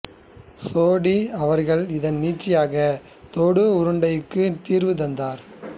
சோடி அவர்கள் இதன் நீட்சியாகத் தொடு உருண்டைகளுக்கும் தீர்வு தந்தார்